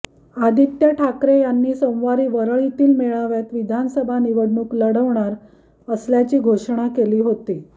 आदित्य ठाकरे यांनी सोमवारी वरळीतील मेळाव्यात विधानसभा निवडणूक लढवणार असल्याची घोषणा केली होती